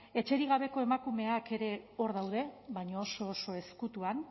etxerik gabeko emakumeak ere hor daude baina oso oso ezkutuan